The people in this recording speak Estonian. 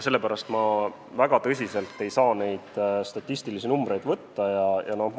Sellepärast ma ei saa neid statistilisi numbreid väga tõsiselt võtta.